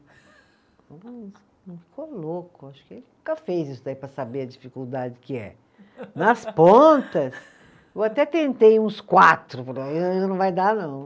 Ficou louco, acho que ele nunca fez isso daí para saber a dificuldade que é. Nas pontas, eu até tentei uns quatro, não vai dar, não.